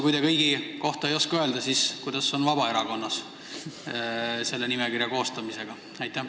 Kui te kõigi kohta ei oska öelda, siis kuidas on Vabaerakonnas lood nimekirja koostamisega?